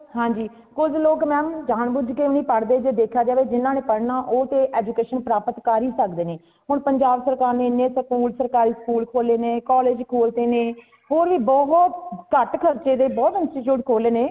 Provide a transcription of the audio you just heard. ਹਾਂਜੀ ਕੁਜ ਲੋਗ mam ਜਾਨ ਭੁਜ ਕੇ ਨਹੀਂ ਪੜ੍ਹਦੇ, ਜੇ ਦੇਖਿਆ ਜਾਏ ਜਿਨ੍ਹਾਂ ਨੇ ਪੜ੍ਹਨਾ ਉਹ ਤੇ education ਪ੍ਰਾਪਤ ਕਰ ਹੀ ਸਕਦੇ ਨੇ , ਹੁਣ ਪੰਜਾਬ ਸਰਕਾਰ ਨੇ ਏਨੇ school ਸਰਕਾਰੀ school ਖੋਲ੍ਹੇ ਨੇ ,collage ਖੋਲ੍ਹ ਤੇ ਨੇ , ਹੋਰ ਵੀ ਬਹੁਤ ਕੱਟ ਖਰਚੇ ਦੇ ਬਹੁਤ institute ਖੋਲ੍ਹੇ ਨੇ